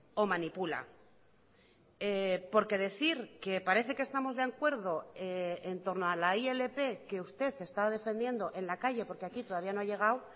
o manipula porque decir que parece que estamos de acuerdo en torno a la ilp que usted está defendiendo en la calle porque aquí todavía no ha llegado